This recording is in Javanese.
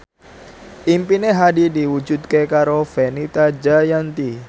impine Hadi diwujudke karo Fenita Jayanti